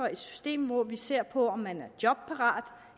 et system hvor vi ser på om man er jobparat